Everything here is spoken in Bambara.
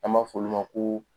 An b'a fɔ olu ma ko